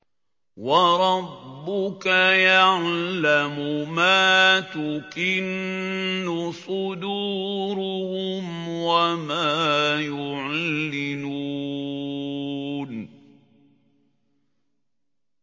وَرَبُّكَ يَعْلَمُ مَا تُكِنُّ صُدُورُهُمْ وَمَا يُعْلِنُونَ